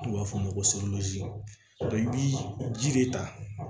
N'u b'a f'o ma ko i bi ji de ta